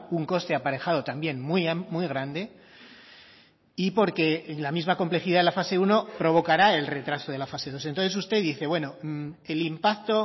un coste aparejado también muy grande y porque la misma complejidad de la fase uno provocará el retraso de la fase dos entonces usted dice bueno el impacto